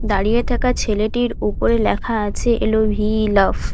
দাঁড়িয়ে থাকা ছেলেটির উপরে লেখা আছে L O V E love.